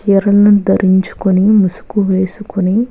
ధరించుకొని మూసుకువేసుకొని --